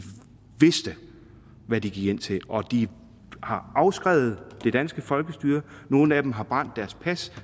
vidste hvad de gik ind til og de har afskrevet det danske folkestyre nogle af dem har brændt deres pas